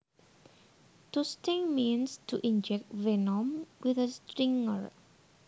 To sting means to inject venom with a stinger